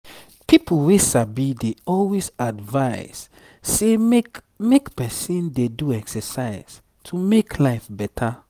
people wey sabi dey always advise say make make person dey do exercise to make life better.